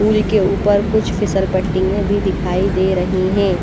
पुल के ऊपर कुछ फिसल पट्टीएं भी दिखाई दे रही हैं।